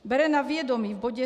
Bere na vědomí v bodě